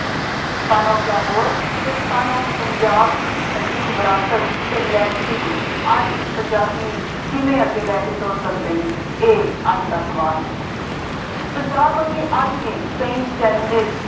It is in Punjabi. son of Lahore ਅਤੇ son of Punjab ਦੀ ਛੱਡੀ ਵਿਰਾਸਤ ਅਤੇ legacy ਨੂੰ ਅੱਜ ਪੰਜਾਬੀ ਕਿਵੇਂ ਅੱਗੇ ਲੈ ਕੇ ਤੁਰ ਸਕਦੇ ਨੇ, ਇਹ ਅੱਜ ਦਾ ਸਵਾਲ ਹੈ। ਪੰਜਾਬ ਤੋਂ ਅੱਗੇ ਅੱਜ ਵੀ ਕਈ challanges